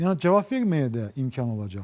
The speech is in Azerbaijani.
Yəni cavab verməyə də imkan olacaqdı.